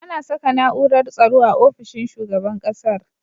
Ana Saka na'urar tsaro a ofishin shugaban ƙasar